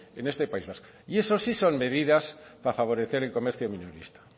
en este país vasco eso sí son medidas para favorecer el comercio minorista